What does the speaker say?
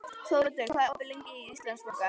Þóroddur, hvað er opið lengi í Íslandsbanka?